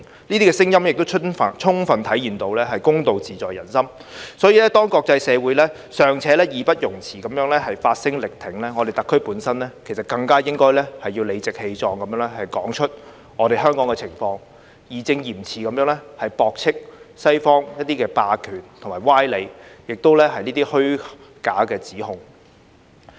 這些聲音亦充分體現到公道自在人心，所以當國際社會尚且義不容辭地發聲力挺，我們特區本身其實更應該要理直氣壯地說出香港的情況，義正嚴詞地駁斥西方霸權的歪理及虛假的指控。